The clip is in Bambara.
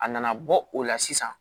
A nana bɔ o la sisan